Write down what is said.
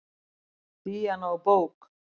Díana úr bók.